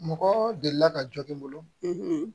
Mɔgɔ delila ka jɔ n bolo